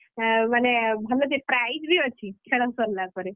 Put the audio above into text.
ମାନେ ଭଲ ଯେ prize ବି ଅଛି ଖେଳ ସରିଲା ପରେ।